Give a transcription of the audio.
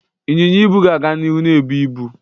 Ịnyịnya ibu ga-aga n'ihu na-ebu ibu.